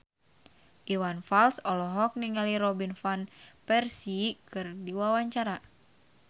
Iwan Fals olohok ningali Robin Van Persie keur diwawancara